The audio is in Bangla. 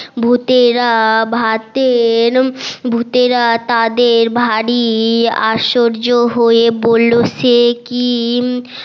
ভুতেরা ভাতের ভুতেরা তাদের ভারী আশ্চর্য হয়ে বললো সে কি